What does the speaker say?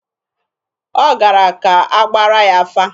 Ọ gara ka a gbaara ya afa.